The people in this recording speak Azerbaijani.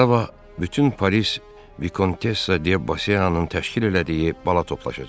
Sabah bütün Paris Vikontessa De Boseanın təşkil elədiyi bala toplaşacaq.